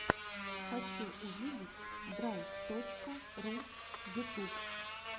хочу увидеть драйв точка ру ютуб